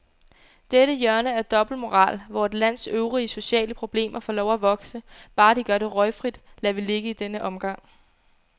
Dette hjørne af dobbeltmoral, hvor et lands øvrige sociale problemer får lov at vokse, bare de gør det røgfrit, lader vi ligge i denne omgang.